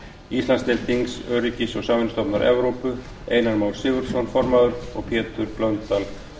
íslandsdeild þings öryggis og samvinnustofnunar evrópu einar már sigurðarson formaður og pétur h blöndal